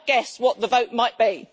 I can guess what the vote might be.